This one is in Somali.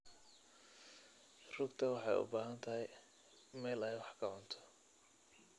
rugta waxay u baahan tahay meel ay wax ku cunto.